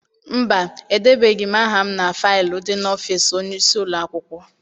Mba, edebeghị m aha na faịlu dị n'ọfịịsi onyeisi ụlọakwụkwọ.